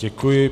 Děkuji.